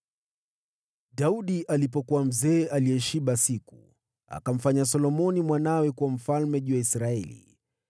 Daudi alipokuwa mzee aliyeshiba siku, akamfanya Solomoni mwanawe kuwa mfalme juu ya Israeli.